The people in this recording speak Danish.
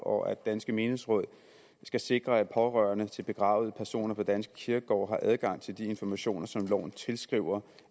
og at danske menighedsråd skal sikre at pårørende til begravede personer på danske kirkegårde har adgang til de informationer som loven tilskriver